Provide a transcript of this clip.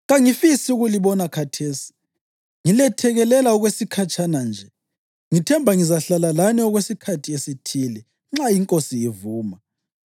Kangifisi ukulibona khathesi ngilethekelela okwesikhatshana nje; ngithemba ngizahlala lani okwesikhathi esithile, nxa iNkosi ivuma.